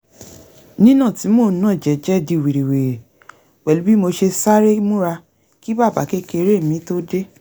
nínà tí mò ń nà jẹ́jẹ́ di wìrìwìrì pẹ̀lú bí mo ṣe sáré múra kí bàbá-kékeré mi tó dé